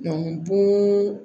bon